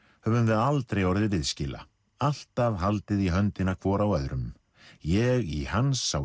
höfum við aldrei orðið viðskila alltaf haldið í höndina hvor á öðrum ég í hans á